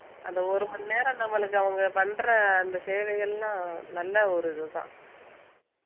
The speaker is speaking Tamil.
அந்த ஒரு மணி நேரம் நம்மளுக்கு அவங்க பண்ற அந்த சேவை எல்லாம் நல்ல ஒரு இதுதான்